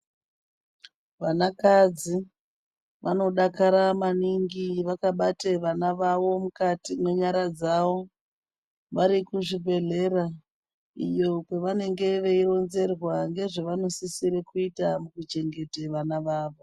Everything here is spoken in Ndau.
Vana kadzi vanodakara maningi vakavata vana vavo mukati mezvibhedhlera iyo kwavanenge veironzera vanosisira kuitwa kychengeta vana vavo.